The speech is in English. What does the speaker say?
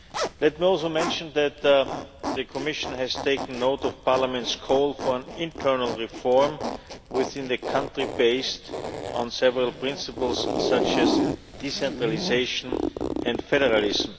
Let me also mention that the Commission has taken note of Parliament's call for internal reform within the country based on several principles such as decentralisation and federalism.